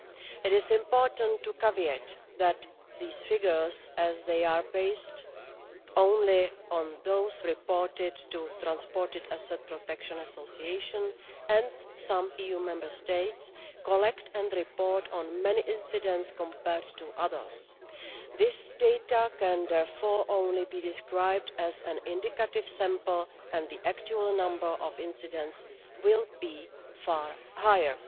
It is important to add the caveat that these figures as they are based only on those reported to the Transported Asset Protection Association, and some EU Member States collect and report on many incidents compared with others. This data can therefore only be described as an indicative sample, and the actual number of incidents will be far higher.